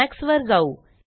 Emax वर जाऊ